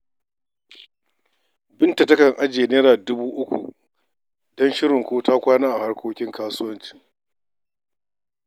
Binta takan ajiye Naira dubu uku domin shirin ko ta kwana a harkokin kasuwancinta.